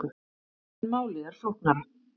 En málið er flóknara.